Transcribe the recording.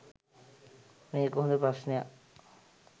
මේක හොඳ ප්‍රශ්නයක්